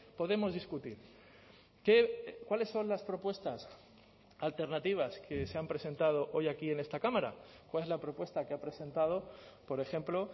podemos discutir qué cuáles son las propuestas alternativas que se han presentado hoy aquí en esta cámara cuál es la propuesta que ha presentado por ejemplo